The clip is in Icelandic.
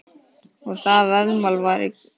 Það var veðmál í gangi.